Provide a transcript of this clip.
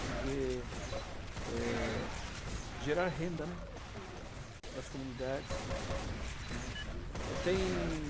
Porque é, é, gerar renda, né, hm, para as comunidades, né. Tem...